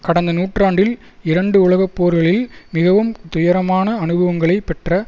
கடந்த நூற்றாண்டில் இரண்டு உலகப்போர்களில் மிகவும் துயரமான அனுபவங்களை பெற்ற